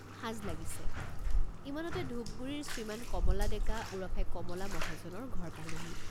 সাঁজ লাগিছে ইমানতে ঢোপ গুড়িৰ শ্ৰীমান কমলা ডেকা ওৰফে কমলা মহাজনৰ ঘৰ পালোঁ।